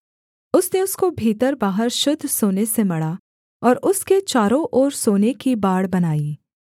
उसने उसको भीतर बाहर शुद्ध सोने से मढ़ा और उसके चारों ओर सोने की बाड़ बनाई